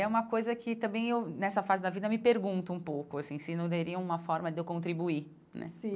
É uma coisa que também eu, nessa fase da vida, eu me pergunto um pouco assim se não teria uma forma de eu contribuir né sim.